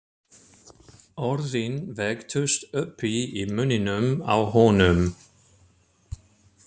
Orðin velktust uppi í munninum á honum.